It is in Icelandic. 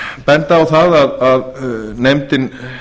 benda á það að nefndin